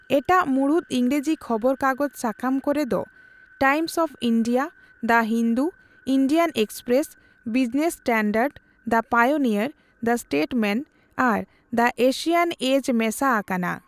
ᱮᱴᱟᱜ ᱢᱩᱬᱩᱛ ᱤᱝᱨᱮᱡᱤ ᱠᱷᱚᱵᱚᱨ ᱠᱟᱜᱚᱡᱽ ᱥᱟᱠᱟᱢ ᱠᱚ ᱨᱮ ᱫᱚ Times of India, the Hindu, Indian Express, Business Standard, the Pioneer, the Statesman ᱟᱨ ᱫᱟ ᱮᱥᱤᱭᱚᱱ ᱮᱡ ᱢᱮᱥᱟ ᱟᱠᱟᱱᱟ ᱾